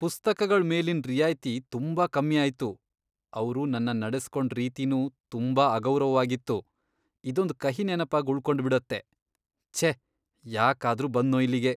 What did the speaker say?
ಪುಸ್ತಕಗಳ್ ಮೇಲಿನ್ ರಿಯಾಯ್ತಿ ತುಂಬಾ ಕಮ್ಮಿ ಆಯ್ತು.. ಅವ್ರು ನನ್ನ ನಡೆಸ್ಕೊಂಡ್ ರೀತಿನೂ ತುಂಬಾ ಅಗೌರವವಾಗಿತ್ತು. ಇದೊಂದ್ ಕಹಿ ನೆನಪಾಗ್ ಉಳ್ಕೊಂಡ್ಬಿಡತ್ತೆ.. ಛೇ, ಯಾಕಾದ್ರೂ ಬಂದ್ನೋ ಇಲ್ಲಿಗೆ.